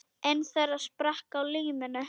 Einn þeirra sprakk á limminu